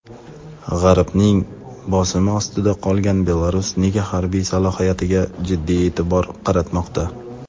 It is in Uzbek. G‘arbning bosimi ostida qolgan Belarus nega harbiy salohiyatga jiddiy e’tibor qaratmoqda?.